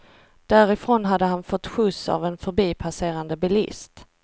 Därifrån hade han fått skjuts av en förbipasserande bilist.